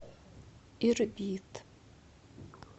ирбит